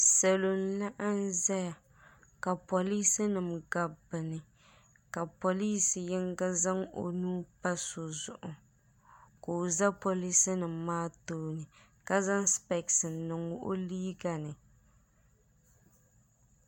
Salo n laɣim zaya ka polisi nima gabi bɛ ni ka polisi yinga zaŋ o nuu pa so zuɣu ka o za polisi nima maa tooni ka zaŋ sipesi niŋ o liiga ni.